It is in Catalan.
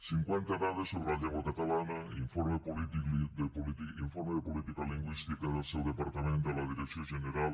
cinquanta dades sobre la llengua catalana informe de política lingüística del seu departament de la direcció general